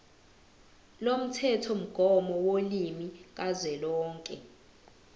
lomthethomgomo wolimi kazwelonke